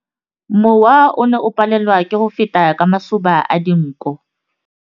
Mowa o ne o palelwa ke go feta ka masoba a dinko.